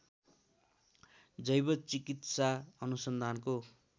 जैव चिकित्सा अनुसन्धानको